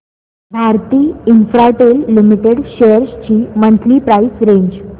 Bharti Infratel limited shares ची monthly price range